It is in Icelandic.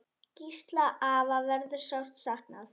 Gísla afa verður sárt saknað.